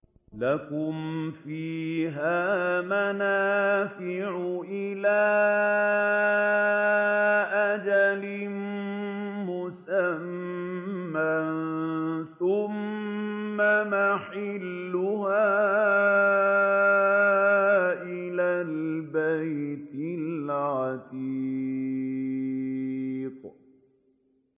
لَكُمْ فِيهَا مَنَافِعُ إِلَىٰ أَجَلٍ مُّسَمًّى ثُمَّ مَحِلُّهَا إِلَى الْبَيْتِ الْعَتِيقِ